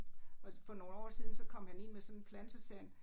Og for nogle år siden så kom han ind med sådan plante så sagde han